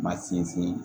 Ma sinsin